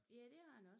Ja det har den også